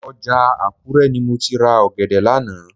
Ọjà Àkúrẹ́ ni mo ti ra ọ̀gẹ̀dẹ̀ lánàá